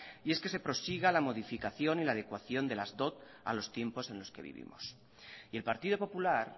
y es que se prosiga la modificación y la adecuación de las dot a los tiempos en los que vivimos y el partido popular